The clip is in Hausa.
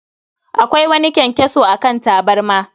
Akwai wani kyankyaso a kan tabarma